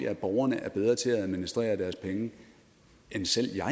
at borgerne er bedre til at administrere deres penge end selv jeg